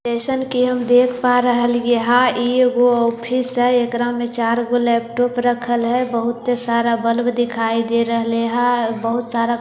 जैसन के हम देख पा रह लिए है इ ऊ ऑफिस है एकरा में चार लेपटॉप रखल है बहुत सारे बलब दिखाई दे रह लिए है ओर बहुत सारा कुर्सी --